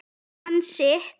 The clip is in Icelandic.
Hann sitt.